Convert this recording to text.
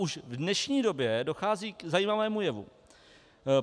Už v dnešní době dochází k zajímavému jevu.